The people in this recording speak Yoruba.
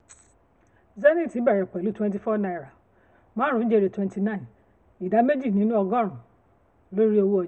zenith bẹ̀rẹ̀ zenith bẹ̀rẹ̀ pẹ̀lú twenty four naira marun jèrè twenty nine ida meji lórí um owó ọjà.